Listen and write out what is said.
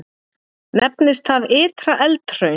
Nefnist það Ytra-Eldhraun.